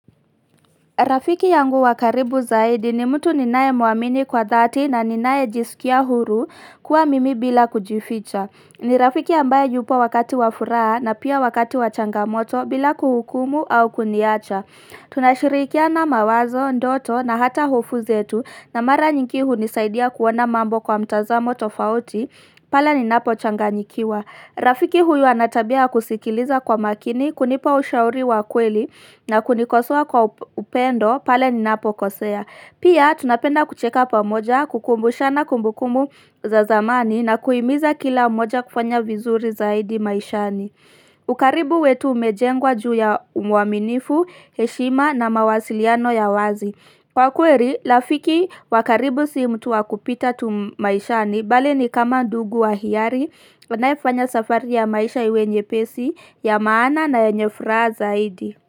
Rafiki yangu wa karibu zaidi ni mtu ninayemuamini kwa dhati na ninaye jisikia huru kuwa mimi bila kujificha. Ni rafiki ambaye yupo wakati wa furaha na pia wakati wa changamoto bila kuhukumu au kuniacha. Tunashirikiana mawazo, ndoto na hata hofu zetu na mara nyingi hunisaidia kuona mambo kwa mtazamo tofauti pale ninapo changanyikiwa. Rafiki huyu ana tabia ya kusikiliza kwa makini, kunipa ushauri wa kweli na kunikosoa kwa upendo pale ninapo kosea. Pia tunapenda kucheka pamoja, kukumbushana kumbukumbu za zamani na kuhimiza kila mmoja kufanya vizuri zaidi maishani. Ukaribu wetu umejengwa juu ya uaminifu, heshima na mawasiliano ya wazi. Kwa kweli, rafiki wa karibu si mtu wakupita tu maishani bali ni kama ndugu wa hiari Wanaifanya safari ya maisha iwe nyepesi, ya maana na yenye furaha zaidi.